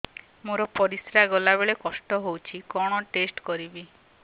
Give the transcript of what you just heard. ମୋର ପରିସ୍ରା ଗଲାବେଳେ କଷ୍ଟ ହଉଚି କଣ ଟେଷ୍ଟ କରିବି